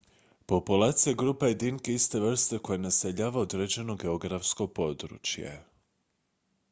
populacija je grupa jedinki iste vrste koja naseljava određeno geografsko područje